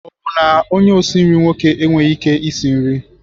Ọ bụ na onye osi nri nwoke enweghị ike isi nri?